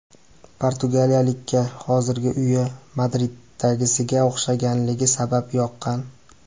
Portugaliyalikka hozirgi uyi Madriddagisiga o‘xshashligi sabab yoqqan.